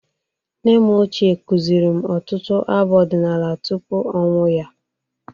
Nne m ochie kuziri m ọtụtụ abụ ọdịnala tupu ọnwụ ya.